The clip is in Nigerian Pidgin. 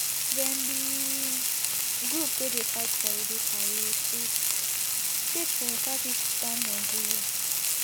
dem be group wey dey fight for a breakaway state state for southeastern nigeria